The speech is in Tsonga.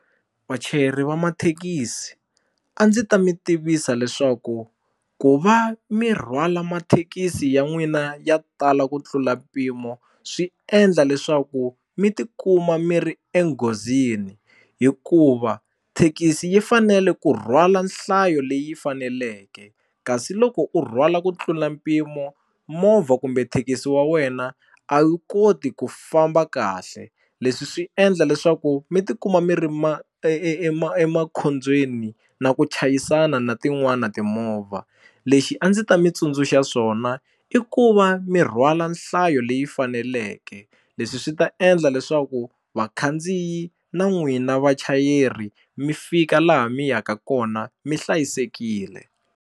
Vachayeri va mathekisi a ndzi ta mi tivisa leswaku ku va mi rhwala mathekisi ya n'wina ya tala ku tlula mpimo swi endla leswaku mi tikuma mi ri enghozini hikuva thekisi yi fanele ku rhwala nhlayo leyi faneleke kasi loko u rhwala ku tlula mpimo movha kumbe thekisi wa wena a wu koti ku famba kahle leswi swi endla leswaku mi tikuma mi ri emakhobyeni na ku chayisana na tin'wana timovha lexi a ndzi ta mi tsundzuxa swona i ku va mi rhwala nhlayo leyi faneleke leswi swi ta endla leswaku vakhandziyi na n'wina vachayeri mi fika laha mi yaka kona mi hlayisekile.